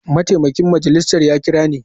Mataimakin shugaban majalisar ya kira ni.